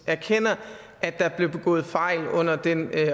erkender at der blev begået fejl under den